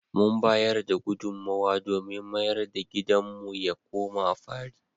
Mun bayar da gudunmowa domin mayar da gidanmu ya koma fari.